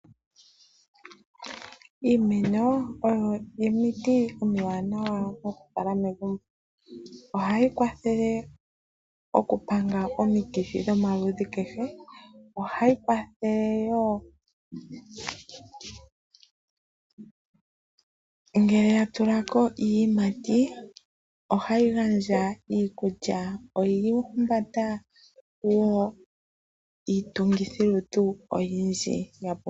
Iimeno oyo omiti omiwanawa okukala megumbo. Ohayi kwathele okupanga omikithi dhomaludhi kehe. Ohayi kwathele wo ngele ya tula ko iiyimayi ohayi gandja iikulya. Oya humbata wo iitungithilutu oyindji.